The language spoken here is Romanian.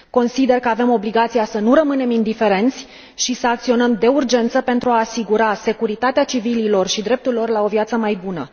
Consider că avem obligația să nu rămânem indiferenți și să acționăm de urgență pentru a asigura securitatea civililor și dreptul lor la o viață mai bună.